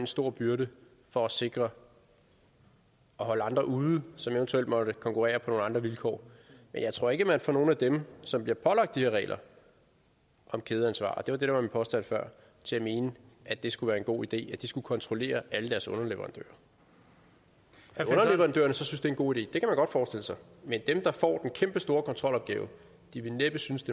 stor byrde for at sikre at holde andre ude som eventuelt måtte konkurrere på nogle andre vilkår men jeg tror ikke at man får nogen af dem som bliver pålagt de her regler om kædeansvar og det var det der var min påstand før til at mene at det skulle være en god idé at de skulle kontrollere alle deres underleverandører at underleverandørerne så synes en god idé kan man godt forestille sig men dem der får den kæmpestore kontrolopgave vil næppe synes